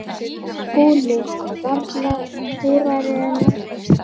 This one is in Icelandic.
SKÚLI: Varla súrari en áður.